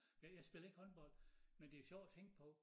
Men jeg spillede ikke håndbold men det sjovt at tænke på